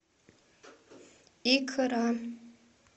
икра